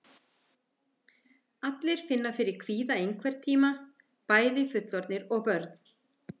Allir finna fyrir kvíða einhvern tíma, bæði fullorðnir og börn.